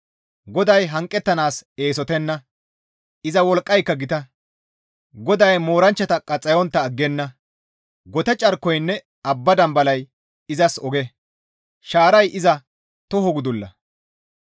GODAY hanqettanaas eesotenna; iza wolqqayka gita. GODAY mooranchcha qaxxayontta aggenna; gote carkoynne abba dambalay izas oge; shaaray iza toho gudulla.